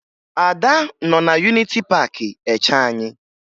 Ada nọ na Yuniti Paakị eche anyị